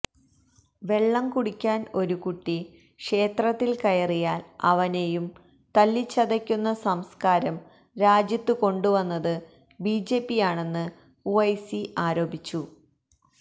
വെള്ളംകുടിക്കാൻ ഒരു കുട്ടി ക്ഷേത്രത്തിൽ കയറിയാൽ അവനെയും തല്ലിച്ചതയ്ക്കുന്ന സംസ്കാരം രാജ്യത്തുകൊണ്ടുവന്നത് ബിജെപിയാണെന്ന് ഉവൈസി ആരോപിച്ചു